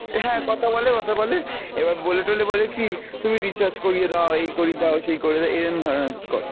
হ্যাঁ কথা বলে, কথা বলে, এবার বোলে টোলে বলে কী তুমি recharge করিয়ে দাও, এই করিয়ে দাও, সেই করিয়ে দাও এরম ধরনের করে।